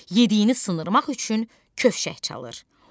Yediyini sındırmaq üçün kövşək çalır.